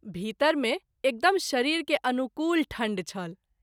भीतर मे एकदम शरीर के अनुकूल ठंढ छल।